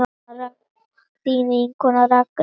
Þín vinkona Ragna.